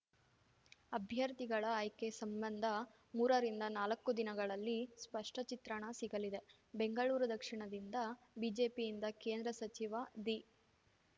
ಅಭ್ಯರ್ಥಿಗಳ ಆಯ್ಕೆ ಸಂಬಂಧ ಮೂರ ರಿಂದನಾಲಕ್ಕು ದಿನಗಳಲ್ಲಿ ಸ್ಪಷ್ಟ ಚಿತ್ರಣ ಸಿಗಲಿದೆ ಬೆಂಗಳೂರು ದಕ್ಷಿಣದಿಂದ ಬಿಜೆಪಿಯಿಂದ ಕೇಂದ್ರ ಸಚಿವ ದಿ